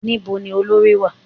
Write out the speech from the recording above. Ní bo ni olorì wà?